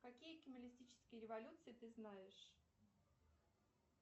какие кималистические революции ты знаешь